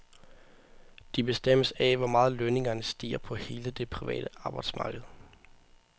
De bestemmes af, hvor meget lønningerne stiger på hele det private arbejdsmarked.